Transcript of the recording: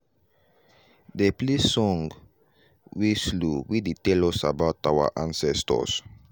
dey play song wey slow wey dey tell us about our ancestors.